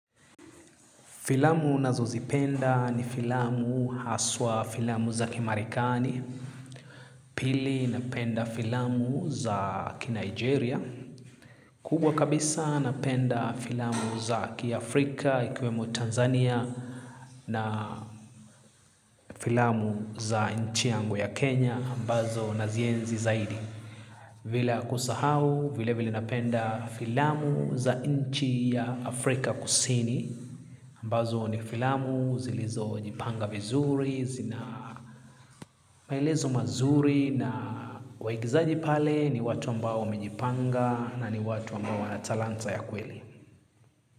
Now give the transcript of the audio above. Filamu nazozipenda ni filamu haswa filamu za kimarekani, pili napenda filamu za ki Nigeria, kubwa kabisa napenda filamu za kiafrika ikiwemo Tanzania na filamu za nchi yangu ya Kenya ambazo nazienzi zaidi. Bila kusahau, vile vile napenda filamu za nchi ya Afrika kusini. Ambazo ni filamu, zilizojipanga vizuri, zina maelezo mazuri na waigizaji pale ni watu ambao wamejipanga na ni watu ambao wana talanta ya kweli.